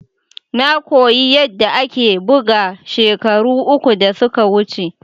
Na koyi yadda ake bugawa shekaru uku da suka wuce.